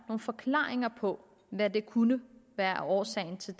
forklaringer på hvad der kunne være årsagen til